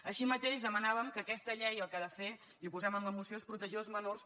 així mateix demanàvem que aquesta llei el que ha de fer i ho posem en la moció és protegir els menors